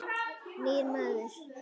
Nýr maður.